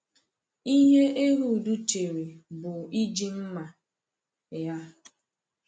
Ihe Ehud chere bụ iji mma ya.